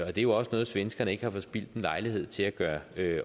er jo også noget svenskerne ikke har forspildt en lejlighed til at gøre